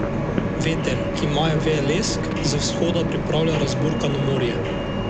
Veter, ki maje veje lesk, z vzhoda pripravlja razburkano morje.